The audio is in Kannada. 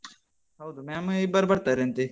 ಹೌದು, ma'am ಇಬ್ಬರು ಬರ್ತಾರಂತೆ.